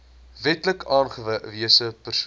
wetlik aangewese persoon